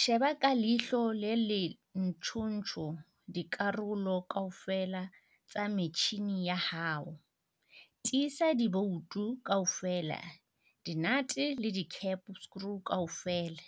Sheba ka leihlo le ntjhotjho dikarolo kaofela tsa metjhine ya hao, tiisa diboutu kaofela, di-nate le di-cap screw kaofela